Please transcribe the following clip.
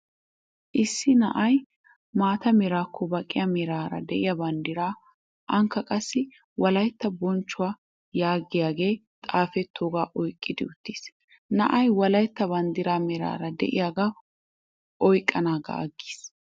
Issi na'ay maata merakko baqqiya meraara de'iyaa banddiraa ankka qassi wolaytta bonchchuwaa yaagiyagee xaafettooga oyqqiddi uttis. Na'ay wolaytta banddiraa meraara de'iyaagaa oyiqqanaagaa aggis.